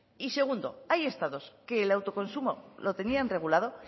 y segundo hay estados que el autoconsumo lo tenían regulado